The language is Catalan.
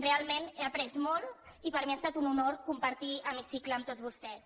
realment n’he après molt i per mi ha estat un honor compartir hemicicle amb tots vostès